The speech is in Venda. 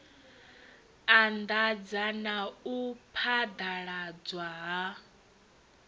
anḓadza na u phaḓaladzwa ha